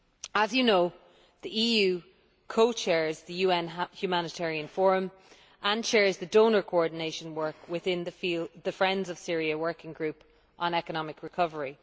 As you know, the EU co chairs the UN Humanitarian Forum and chairs the donor coordination work within the Friends of Syria working group on economic recovery.